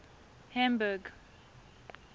hamburg